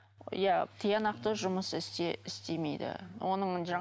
иә тиянақты жұмыс істемейді